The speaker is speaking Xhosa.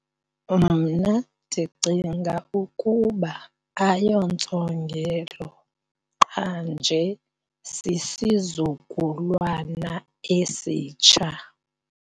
Mna ndicinga ukuba ayontsongelo qha nje sisizukulwana esitsha.